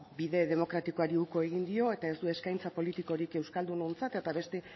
bide demokratikoari uko egin dio eta ez du eskaintza politikorik euskaldunontzat eta beste